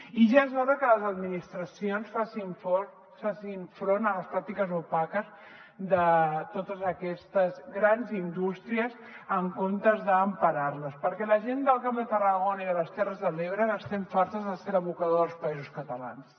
i ja és hora que les administracions facin front a les pràctiques opaques de totes aquestes grans indústries en comptes d’emparar les perquè la gent del camp de tarragona i de les terres de l’ebre n’estem fartes de ser l’abocador dels països catalans